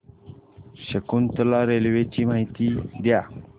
Shakuntala railway ची माहिती द्या